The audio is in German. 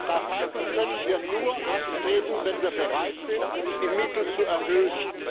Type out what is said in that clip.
Das heißt, das können wir nur anstreben, wenn wir bereit sind, die Mittel zu erhöhen.